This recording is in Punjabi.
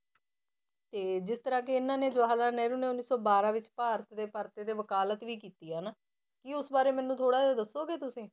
ਤੇ ਜਿਸ ਤਰ੍ਹਾਂ ਕਿ ਇਹਨਾਂ ਨੇ ਜਵਾਹਰ ਲਾਲ ਨਹਿਰੂ ਨੇ ਉੱਨੀ ਬਾਰਾਂ ਵਿੱਚ ਭਾਰਤ ਦੇ ਪਰਤੇ ਤੇ ਵਕਾਲਤ ਵੀ ਕੀਤੀ ਹੈ ਨਾ, ਕੀ ਉਸ ਬਾਰੇ ਮੈਨੂੰ ਥੋੜ੍ਹਾ ਜਿਹਾ ਦੱਸੋਗੇ ਤੁਸੀਂ?